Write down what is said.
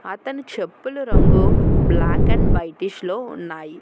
అతను చెప్పుల రంగు బ్లాక్ అండ్ వైటిష్ లో ఉన్నాయి.